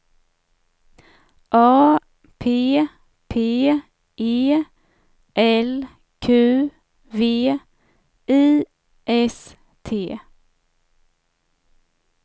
A P P E L Q V I S T